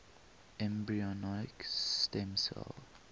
embryonic stem cell